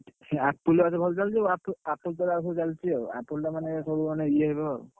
Apple watch ଭଲ ଚାଲୁଛି Apple ତମେ ଆଉ ସବୁ ଚାଲିଛି ଆଉ Apple ଟା ମାନେ ସବୁ ମାନେ ଇଏ ହବେ ଆଉ।